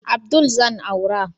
Abdul zan aura